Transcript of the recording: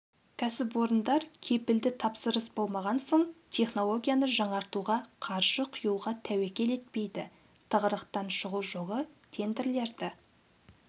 кәсіпорындар кепілді тапсырыс болмаған соң технологияны жаңартуға қаржы құюға тәуекел етпейді тығырықтан шығу жолы тендерлерді